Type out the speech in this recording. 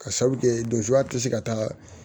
Ka sabu kɛ donjka a tɛ se ka taa